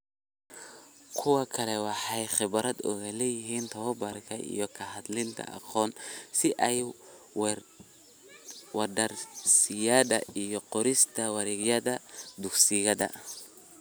Kuwo kale waxay khibrad u leeyihiin tabobarka iyo ka hadlida aqoon-is-weydaarsiyada iyo qorista wargeysyada dugsiyada.